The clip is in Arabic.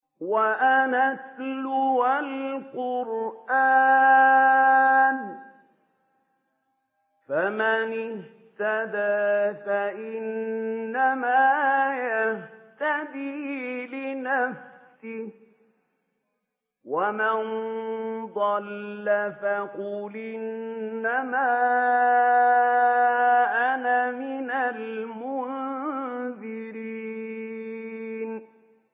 وَأَنْ أَتْلُوَ الْقُرْآنَ ۖ فَمَنِ اهْتَدَىٰ فَإِنَّمَا يَهْتَدِي لِنَفْسِهِ ۖ وَمَن ضَلَّ فَقُلْ إِنَّمَا أَنَا مِنَ الْمُنذِرِينَ